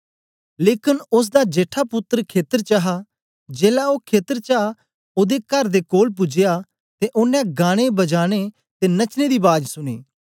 लेकन ओसदा जेठा पुत्तर खेतर च हा जेलै ओ खेतर चा औंदे कर दे कोल पूजया ते ओनें गानेबजाने ते नचने दी बाज सुनी